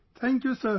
thank you sir